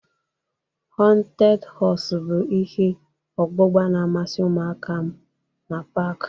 Họnted họs bụ ihe ọgbụgba na-amasị ụmụaka m na pak.